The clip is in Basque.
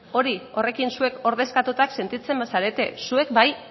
hori horrekin zuek ordezkatuta sentitzen bazarete zuek bai